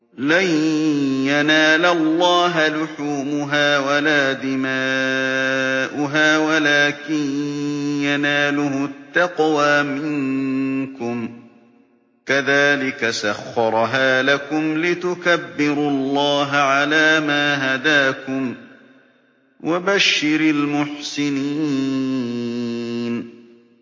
لَن يَنَالَ اللَّهَ لُحُومُهَا وَلَا دِمَاؤُهَا وَلَٰكِن يَنَالُهُ التَّقْوَىٰ مِنكُمْ ۚ كَذَٰلِكَ سَخَّرَهَا لَكُمْ لِتُكَبِّرُوا اللَّهَ عَلَىٰ مَا هَدَاكُمْ ۗ وَبَشِّرِ الْمُحْسِنِينَ